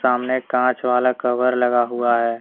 सामने कांच वाला कवर लगा हुआ है।